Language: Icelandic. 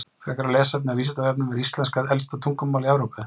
Frekara lesefni á Vísindavefnum Er íslenska elsta tungumál í Evrópu?